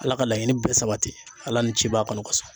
Ala ka laɲini bɛɛ sabati ala ni ciba kɔnɔ.